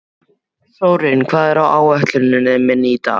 Þórinn, hvað er á áætluninni minni í dag?